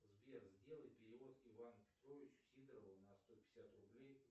сбер сделай перевод ивану петровичу сидорову на сто пятьдесят рублей